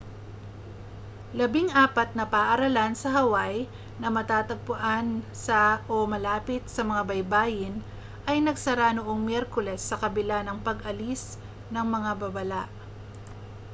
labing-apat na paaralan sa hawaii na matatagpuan sa o malapit sa mga baybayin ay nagsara noong miyerkules sa kabila ng pag-alis ng mga babala